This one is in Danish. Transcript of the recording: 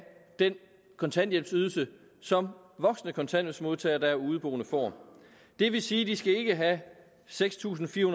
den kontanthjælpsydelse som voksne kontanthjælpsmodtagere der er udeboende får det vil sige at de ikke skal have seks tusind fire